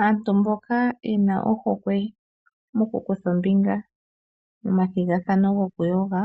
Aantu mboka yena ohokwe mokukutha ombinga momathigathano gokuyoga